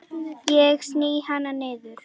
Ég sný hana niður.